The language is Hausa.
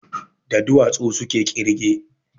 Da duwatsu suke ƙirge